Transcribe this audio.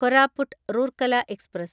Koraput Rourkela express